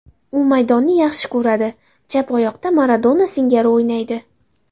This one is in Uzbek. U maydonni yaxshi ko‘radi, chap oyoqda Maradona singari o‘ynaydi.